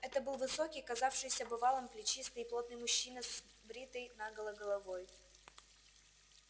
это был высокий казавшийся бывалым плечистый и плотный мужчина с бритой наголо головой